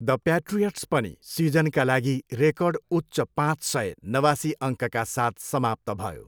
The Patriots पनि सिजनका लागि रेकर्ड उच्च पाँच सय, नवासी अङ्कका साथ समाप्त भयो।